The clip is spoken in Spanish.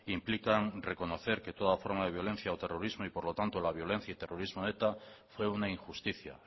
implican reconocer que toda forma de violencia o terrorismo y por lo tanto la violencia y terrorismo de eta fue una injusticia